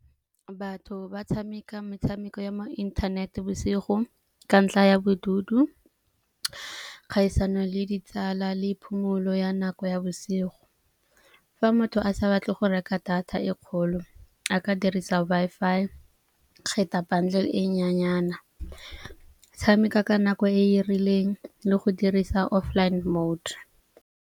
Batho ba tshameka metshameko ya mo inthanete bosigo ka ntla ya bodutu, kgaisano le ditsala le phomolo ya nako ya bosigo. Fa motho a sa batle go reka data e kgolo a ka dirisa Wi-Fi kgetha bundle e nyenyana, tshameka ka nako e e rileng le go dirisa offline mode.